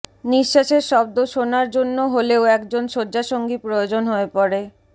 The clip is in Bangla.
নিঃশ্বাসের শব্দ শোনার জন্য হলেও একজন শয্যাসঙ্গী প্রয়োজন হয়ে পড়ে